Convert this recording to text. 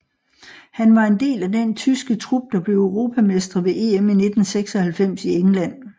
Han var en del af den tyske trup der blev europamestre ved EM i 1996 i England